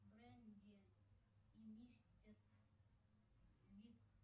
брэнди и мистер